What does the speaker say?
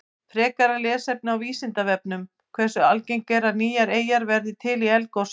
Frekara lesefni á Vísindavefnum: Hversu algengt er að nýjar eyjar verði til í eldgosum?